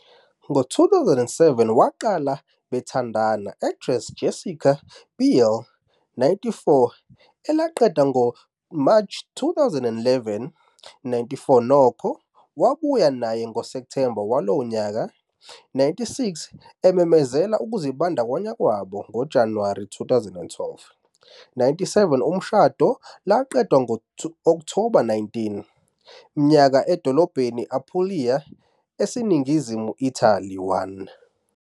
Ngo-2007 waqala nithandana actress Jessica Biel, 94 elaqeda ngo-March 2011.95 Nokho, wabuya naye ngo-September walowo nyaka, 96 ememezela ukuzibandakanya kwabo ngoJanuwari 2012.97 Umshado laqedwa ngo-October 19, mnyaka edolobheni Apulia, eseningizimu Italy.1